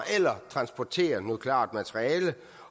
eller transporterer nukleart materiale